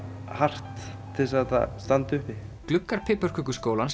hart til að það standi uppi gluggar